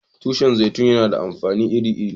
Tushin zaitun na da amfani iri-iri.